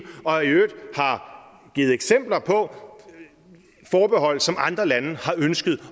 og har i øvrigt givet eksempler på forbehold som andre lande har ønsket